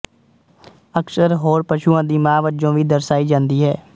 ਅਕਸਰ ਹੋਰ ਪਸ਼ੂਆਂ ਦੀ ਮਾਂ ਵਜੋਂ ਵੀ ਦਰਸਾਈ ਜਾਂਦੀ ਹੈ